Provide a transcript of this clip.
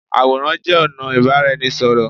Àwòrán jé ònà ìbáraẹnisọ̀rọ̀